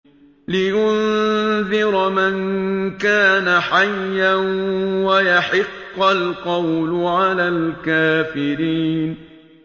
لِّيُنذِرَ مَن كَانَ حَيًّا وَيَحِقَّ الْقَوْلُ عَلَى الْكَافِرِينَ